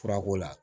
Furako la